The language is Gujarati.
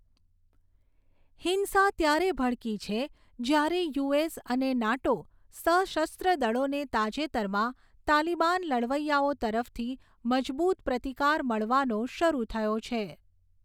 હિંસા ત્યારે ભડકી છે જ્યારે યુએસ અને નાટો સશસ્ત્ર દળોને તાજેતરમાં તાલિબાન લડવૈયાઓ તરફથી મજબૂત પ્રતિકાર મળવાનો શરૂ થયો છે.